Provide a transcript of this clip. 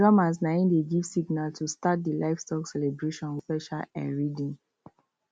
drummers nai dey give signal to start the livestock celebration with special um rhythm